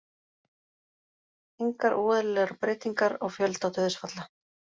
Engar óeðlilegar breytingar á fjölda dauðsfalla